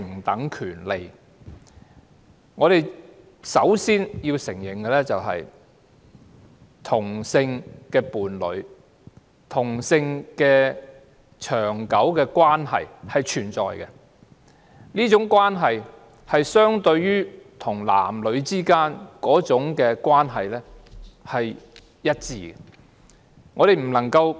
首先，我們要承認，同性伴侶的長久關係是存在的，這種關係與男女之間的關係是一致的。